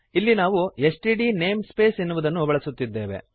ಇಲ್ಲಿ ನಾವು STD namespace ಎನ್ನುವುದನ್ನು ಬಳಸುತ್ತಿದ್ದೇವೆ